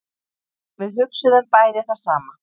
Við hugsuðum bæði það sama.